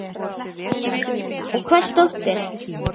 Kristján: Og hvers dóttir?